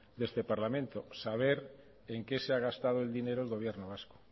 de este parlamento saber en qué se ha gastado el dinero el gobierno vasco